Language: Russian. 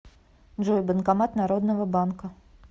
джой банкомат народного банка